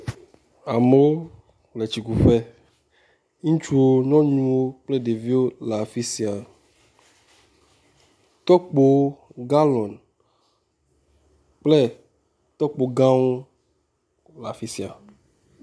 Amewo le tsikuƒe. Ŋutsuwo, nyɔnuwo kple ɖeviwo le afi sia. Tɔkpowo, galɔni kple tɔkpo gãwo le afi sia.